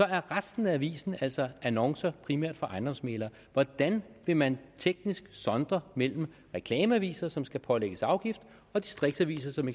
er resten af avisen altså annoncer primært fra ejendomsmæglere hvordan vil man teknisk sondre mellem reklameaviser som skal pålægges afgift og distriktsaviser som